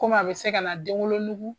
Komi a bɛ se ka na denwolonugu